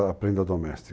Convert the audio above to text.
doméstica.